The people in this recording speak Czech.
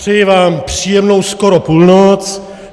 Přeji vám příjemnou skoro půlnoc.